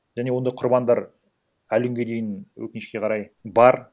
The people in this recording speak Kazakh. және ондай құрбандар әлі күнге дейін өкінішке қарай бар